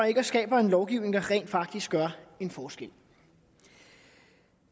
ikke og skaber en lovgivning der rent faktisk gør en forskel